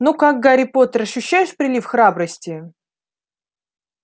ну как гарри поттер ощущаешь прилив храбрости